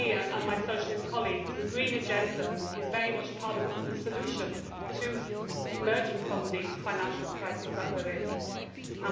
wrong. For me and my Socialist colleagues, the green agenda is very much part of the solution to emerging from the financial crisis that we are